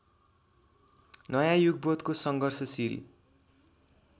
नयाँ युगबोधको सङ्घर्षशील